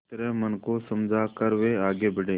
इस तरह मन को समझा कर वे आगे बढ़े